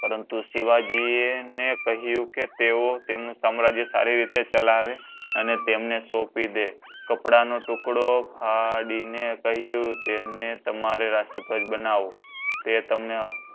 પરંતુ શિવજી એકહ્યું કે તેઓ તમણું સામ્રાજ્ય સારી રીતે ચલાવે અને તમને સોપી દે કપડાં નો ટુકડો ફાડી ને કહ્યું કે તમને તમારી banavo તે તેમણે